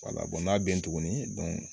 n'a bɛ yen tuguni